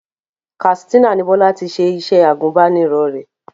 Katsina ni Bọ́lá ti ṣe iṣẹ́ agùbánirọ̀ rẹ̀